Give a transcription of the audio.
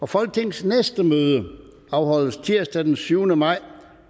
folketingets næste møde afholdes tirsdag den syvende maj